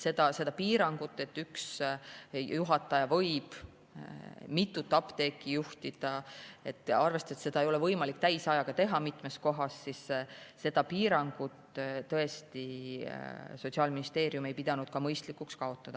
Seda piirangut, et üks juhataja ei või mitut apteeki juhtida, arvestades, et seda ei ole võimalik täisajaga teha mitmes kohas, tõesti Sotsiaalministeerium ei pidanud mõistlikuks kaotada.